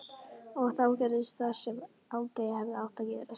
Og þá gerðist það sem aldrei hefði átt að gerast.